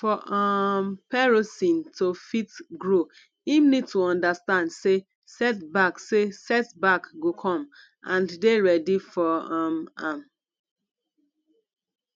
for um perosn to fit grow im need to understand sey set back sey set back go come and dey ready for um am